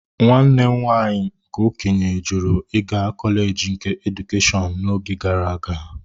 Nwanne m nwanyị nke okenye jụrụ ịga kọleji nke Edukeshọn n'oge gara aga.